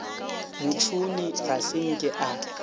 motšhoni ga se nke a